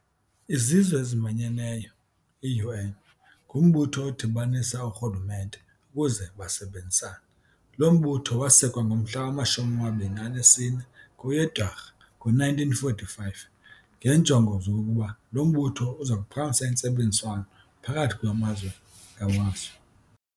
Izizw'ezimanyeneyo, iUN, ngumbutho odibanisa oorhulumente ukuze basebenzisane. Lo mbutho waasekwa ngomhla wama-24 kweyeDwarha ngo-1945 ngeenjongo zokokuba lo mbutho uzakuphakamisa intsebenziswano phakathi kwamazwe ngamazwe.